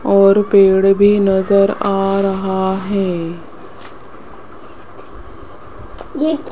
और पेड़ भी नजर आ रहा है।